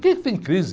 Quem tem crise?